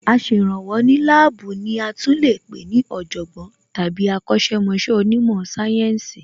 Aṣèrànwọ́ ní láàbù ní a tún lè pé ní Ọ̀jọ̀gbọ́n tàbí akọ̀sẹ̀ mọṣẹ́ onímò sáyẹ́ǹsì